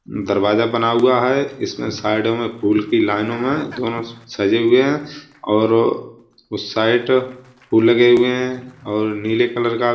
दरवाजा बना हुआ है। इसमें साइड में फूल की लाईनों में दोनो सजे हुए हैं और उस साइड फूल लगे हुए हैं और नीले कलर का --